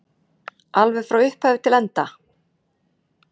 Alveg frá upphafi til enda?